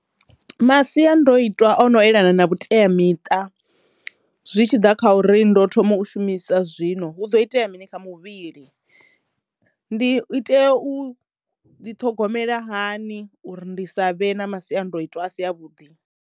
Masiandoitwa o no elana na vhuteamiṱa zwi tshi ḓa kha uri ndo thoma u shumisa zwino hu ḓo itea mini kha muvhili. Ndi i tea u ḓi ṱhogomela hani uri ndi sa vhe na masiandoitwa a si a vhuḓi.